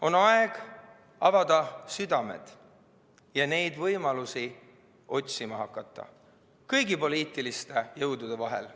On aeg avada südamed ja hakata neid võimalusi otsima kõigi poliitiliste jõudude vahel.